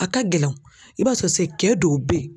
A ka gɛlɛn i b'a sɔrɔ se cɛ dɔw bɛ yen